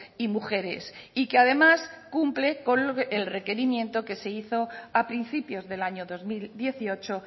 y mujeres y que además cumple con el requerimiento que se hizo a principios del año dos mil dieciocho